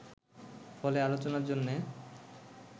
ফলে আলোচনার জন্যে